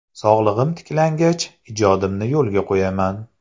Sog‘lig‘im tiklangach, ijodimni yo‘lga qo‘yaman.